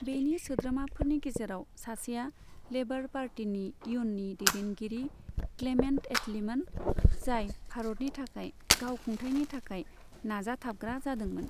बेनि सोद्रोमाफोरनि गेजेराव सासेया लेबर पार्टीनि इयुन्नि दैदेनगिरि क्लेमेन्ट एटलीमोन, जाय भारतनि थाखाय गाव खुंथायनि थाखाय नाजाथाबग्रा जादोंमोन।